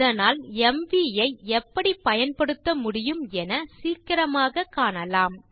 அதனால் எம்வி ஐ எப்படி பயன்படுத்த முடியும் என சீக்கிரமாக காணலாம்